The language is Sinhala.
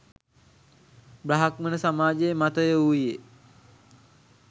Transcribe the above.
බ්‍රාහ්මණ සමාජයේ මතය වූයේ